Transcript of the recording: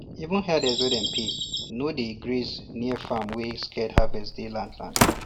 even herders wey dem um pay no dey um graze near farm when sacred harvest day land land